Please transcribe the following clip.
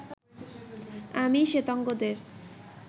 আমি শ্বেতাঙ্গদের